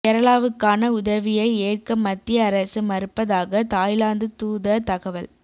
கேரளாவுக்கான உதவியை ஏற்க மத்திய அரசு மறுப்பதாக தாய்லாந்து தூதர் தகவல்